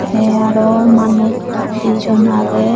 tey aro manuj dijon agey.